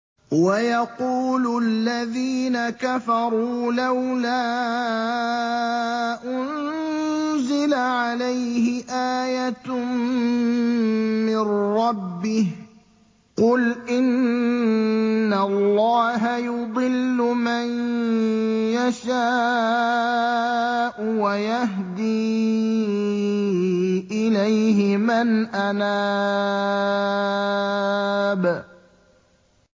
وَيَقُولُ الَّذِينَ كَفَرُوا لَوْلَا أُنزِلَ عَلَيْهِ آيَةٌ مِّن رَّبِّهِ ۗ قُلْ إِنَّ اللَّهَ يُضِلُّ مَن يَشَاءُ وَيَهْدِي إِلَيْهِ مَنْ أَنَابَ